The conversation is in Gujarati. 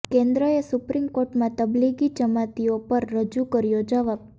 કેન્દ્રએ સુપ્રીમ કોર્ટમાં તબલિગી જમાતીઓ પર રજૂ કર્યો જવાબ